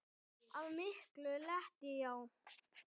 Að miklu leyti já.